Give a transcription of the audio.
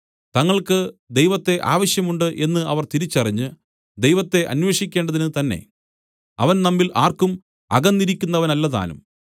തങ്ങൾക്ക് ദൈവത്തെ ആവശ്യം ഉണ്ട് എന്ന് അവർ തിരിച്ചറിഞ്ഞ് ദൈവത്തെ അന്വേഷിക്കേണ്ടതിനുതന്നെ അവൻ നമ്മിൽ ആർക്കും അകന്നിരിക്കുന്നവനല്ലതാനും